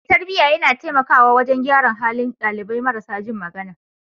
Mai tarbiyya yana taimakawa wajen gyara halin dalibai marasa jin magana.